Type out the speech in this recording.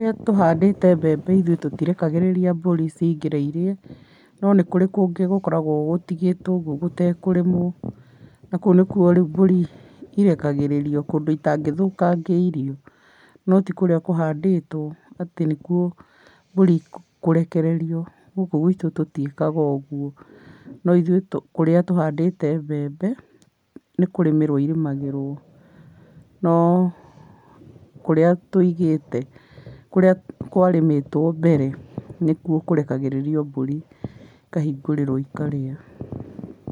Rĩrĩa tũhandĩte mbembe ithuĩ tũtirekagĩrĩria mburi cingĩre irĩe, no nĩkũrĩ kũngĩ gũkoragwo gũtigĩtwo ũguo gũtekũrĩmwo, na kũu nĩkuo rĩũ mbũri irekagĩrĩrio kũndũ itangĩthũkangia irio. No tikũrĩa kũhandĩtwo atĩ nĩkuo mbũri ikũrekererio. Gũkũ gwitũ tũtiĩkaga ũguo. No ithuĩ tũ kũrĩa tũhandĩte mbembe, nĩkũrĩmĩrwo irĩmagĩrwo no kũrĩa tũigĩte kũrĩa kwarĩmĩtwo mbere, nĩkuo kũrekagĩrĩrio mbũri, ikahingĩrwo ikarĩa.